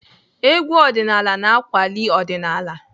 Egwú ọdịnaala na-akwali ọdịnaala.